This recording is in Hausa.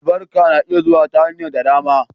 Albarka na iya zuwa ta hanyar da dama.